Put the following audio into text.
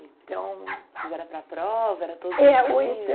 Então... Mas era para a prova, era todo dia.